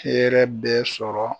Hɛrɛ bɛ sɔrɔ.